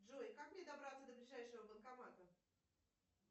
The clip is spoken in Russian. джой как мне добраться до ближайшего банкомата